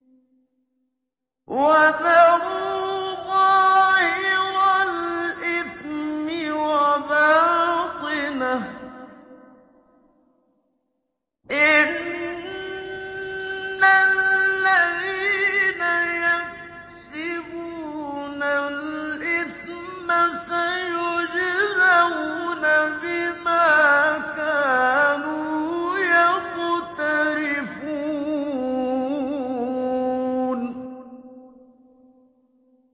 وَذَرُوا ظَاهِرَ الْإِثْمِ وَبَاطِنَهُ ۚ إِنَّ الَّذِينَ يَكْسِبُونَ الْإِثْمَ سَيُجْزَوْنَ بِمَا كَانُوا يَقْتَرِفُونَ